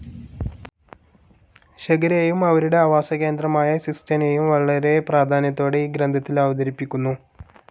ഷകരേയും അവരുടെ ആവാസകേന്ദ്രമായ സിസ്തനെയും വളരെ പ്രാധാന്യത്തോടെ ഈ ഗ്രന്ഥത്തിൽ അവതരിപ്പിക്കുന്നു.